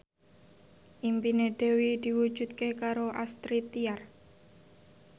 impine Dewi diwujudke karo Astrid Tiar